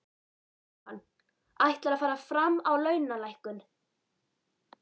Jóhann: Ætlarðu að fara fram á launalækkun?